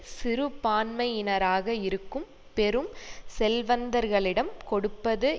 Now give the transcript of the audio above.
சிறுபான்மையினராக இருக்கும் பெரும் செல்வந்தர்களிடம் கொடுப்பது